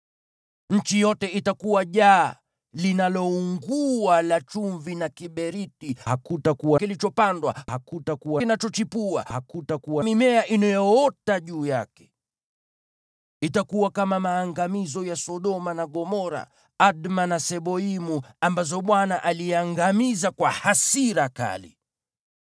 Nchi yote itakuwa jaa linaloungua la chumvi na kiberiti: hakutakuwa kilichopandwa, hakutakuwa kinachochipua, wala hakutakuwa mimea inayoota juu yake. Itakuwa kama maangamizo ya Sodoma na Gomora, Adma na Seboimu, ambazo Bwana aliangamiza kwa hasira kali.